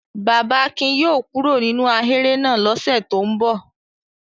Bàbá Akin yóò kó kúrò nínú ahéré náà lọ́sẹ̀ tó ń bọ̀.